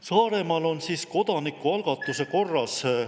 Saaremaal on kodanikualgatuse korras …